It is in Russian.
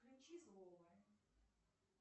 включи слово